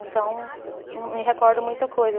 Então, me recordo muita coisa.